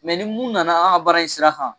ni mun nana an ga bara in sira kan